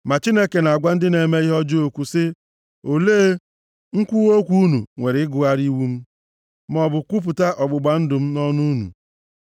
Ma Chineke na-agwa ndị na-eme ihe ọjọọ okwu sị, “Olee, nkwuwa okwu unu nwere ịgụgharị iwu m, maọbụ kwupụta ọgbụgba ndụ m nʼọnụ unu?